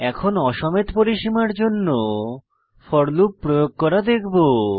এখন অ সমেত পরিসীমার জন্য ফোর লুপ প্রয়োগ করা দেখব